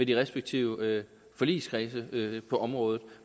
de respektive forligskredse på området